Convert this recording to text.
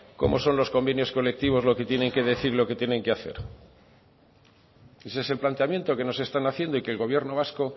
cómo son los convenios colectivos lo que tienen que decir lo que tienen que hacer ese es el planteamiento que nos están haciendo y que el gobierno vasco